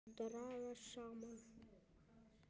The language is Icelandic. Dragast saman.